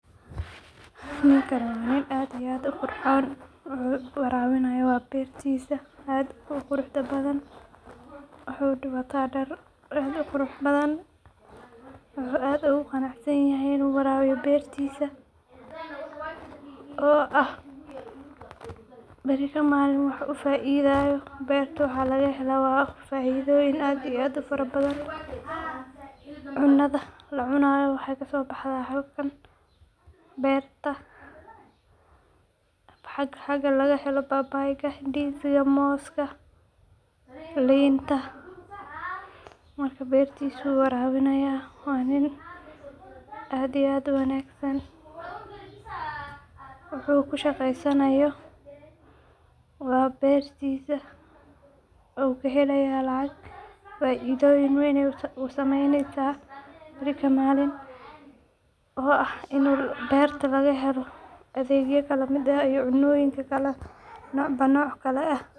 Ninkan waa nin aad iyo aad u qurxon, wuxuu warabinayo waa bertisa aadka u quruxda badan, wuxuu wata dar aad u qurux badan wuxuu aad ogu qanacsanyahay in u warabiyo bertisa oo ah beri ka malin wuxuu ka faidhayo berta waxaa laga helo faidhoyin aad iyo aad u fara badan, cunadha la cunayo wexee kaso baxda halkan beerta, xaga laga helo babayga, indiziga, moska, linta, marka bertisa ayu warabini haya, waa nin aad iyo aad u wanagsan, wuxuu kushaqeysanayo waa bertisa u kahelaya lacag faidhoyin weyn ayey u sameynesa, ninka malin oo ah in berta laga helo adhegya kala miid ah iyo cunoyin nocba noc eh.